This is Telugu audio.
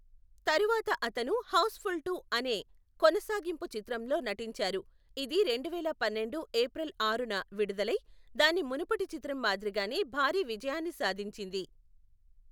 తరువాత అతను హౌస్ఫుల్ టు అనే కొనసాగింపు చిత్రంలో నటించారు, ఇది రెండువేల పన్నెండు ఏప్రిల్ ఆరున విడుదలై దాని మునుపటి చిత్రం మాదిరిగానే భారీ విజయాన్ని సాధించింది.